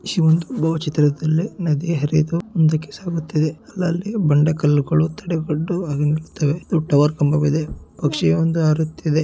ಈ ವೊಂದು ಭಾವ ಚಿತ್ರದಲ್ಲಿ ನದಿ ಹರಿದು ಮುಂದಕ್ಕೆ ಸಾಗುತ್ತಿದೆ ಅಲ್ ಅಲ್ಲಿ ಬಂಡೆ ಕಲ್ಲುಗಳು ತಡೆಗಟ್ಟು ಆಗುತ್ತಿವೆ ಒಂದು ಟವರ್ ಕಂಬವಿದೆ ಪಕ್ಷಿ ಒಂದು ಹಾರುತ್ತಿದೆ.